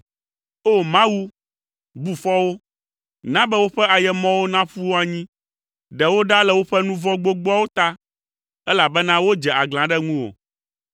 O! Mawu, bu fɔ wo! Na be woƒe ayemɔwo naƒu wo anyi. Ɖe wo ɖa le woƒe nu vɔ̃ gbogboawo ta, elabena wodze aglã ɖe ŋuwò.